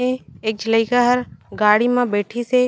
ए एक झी लइका हर गाड़ी मा बइठिस हे।